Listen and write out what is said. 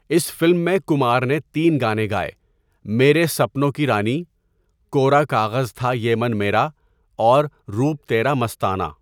اس فلم میں کمار نے تین گانے گائے، ''میرے سپنوں کی رانی''، ''کوڑا کاغذ تھا یہ مَن میرا'' اور ''روپ تیرا مستانہ''۔